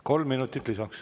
Kolm minutit lisaks.